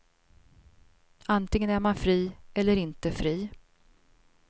Antingen är man fri eller inte fri.